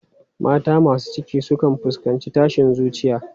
Mata masu ciki sukan fuskanci tashin zuciya.